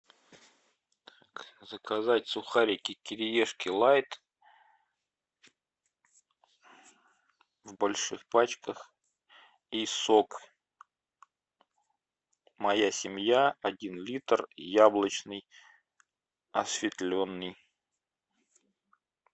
заказать сухарики кириешки лайт в больших пачках и сок моя семья один литр яблочный осветленный